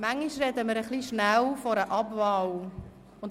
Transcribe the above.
Manchmal sprechen wir etwas schnell von einer «Abwahl».